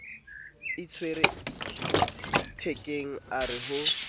itshwere thekeng a re ho